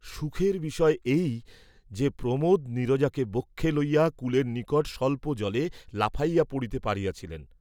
সুখের বিষয় এই যে, প্রমোদ নীরজাকে বক্ষে লইয়া কুলের নিকট স্বল্প জলে লাফাইয়া পড়িতে পারিয়াছিলেন।